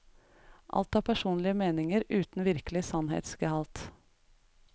Alt er personlige meninger, uten virkelig sannhetsgehalt.